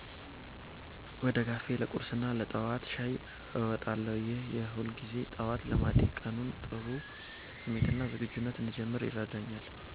ወደ ካፌ ለቁርስና ለጠዋት ሻይ እንወጣለን። ይህ የሁልጊዜ ጠዋት ልማዴ ቀኑን በጥሩ ስሜትና ዝግጁነት እንድጀምር ይረዳኛል።